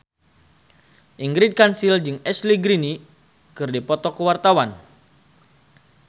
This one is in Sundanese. Ingrid Kansil jeung Ashley Greene keur dipoto ku wartawan